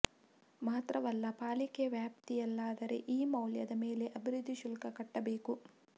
ಮಾತ್ರವಲ್ಲ ಪಾಲಿಕೆ ವ್ಯಾಪ್ತಿಯಲ್ಲಾದರೆ ಈ ಮೌಲ್ಯದ ಮೇಲೆ ಅಭಿವೃದ್ಧಿ ಶುಲ್ಕ ಕಟ್ಟಬೇಕು